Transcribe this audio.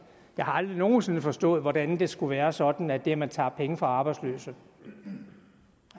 har aldrig nogen sinde forstået hvordan det skulle være sådan at det at man tager penge fra arbejdsløse eller